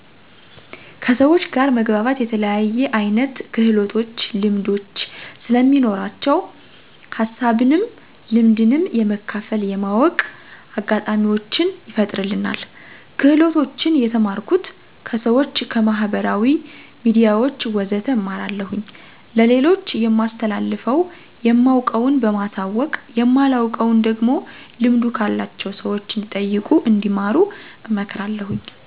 ከሰውች ጋር መግባባት የተለያየ አይነት ክህሎቶች ልምዶች ስለሚኖራቸው ሀሳብንም ልምድንም የመካፈል የማወቅ አጋጣሚውችን ይፈጥርልናል። ክህሎቶችን የተማርኩት፦ ከሰውች፣ ከማህበራዊ ሚዲያውች ወዘተ እማራለሁኝ። ለሌሎች የማስተላልፈው የማውቀውን በማሳወቅ የማላውቀውን ደግሞ ልምዱ ካላቸው ሰውች እንዲጠይቁ እንዲማሩ አመክራለሁኝ።